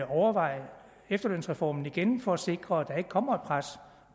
overveje efterlønsreformen igen for at sikre at der ikke kommer et pres